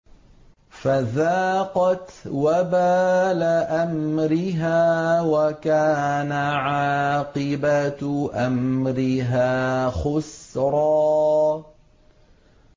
فَذَاقَتْ وَبَالَ أَمْرِهَا وَكَانَ عَاقِبَةُ أَمْرِهَا خُسْرًا